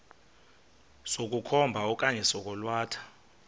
sokukhomba okanye sokwalatha